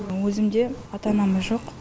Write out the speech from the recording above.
өзімде ата анамыз жоқ